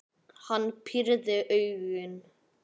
Hann pírði augun.